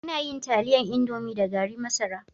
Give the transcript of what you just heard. Ana yin taliyan indomi da gari masara